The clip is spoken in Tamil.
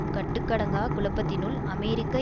கட்டுக்கடங்கா குழப்பத்தினுள் அமெரிக்க